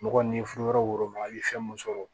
Mɔgɔ ni furuyɔrɔ wo ma i ye fɛn mun sɔrɔ